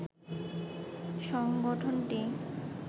সংগঠনটি